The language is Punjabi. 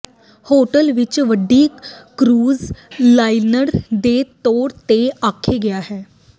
ਹੋਟਲ ਇੱਕ ਵੱਡੀ ਕਰੂਜ਼ ਲਾਈਨਰ ਦੇ ਤੌਰ ਤੇ ਆਖੇ ਗਿਆ ਹੈ